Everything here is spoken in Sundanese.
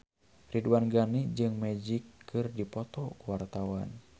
Ridwan Ghani jeung Magic keur dipoto ku wartawan